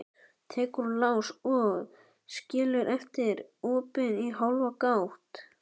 Tekur úr lás og skilur eftir opið í hálfa gátt.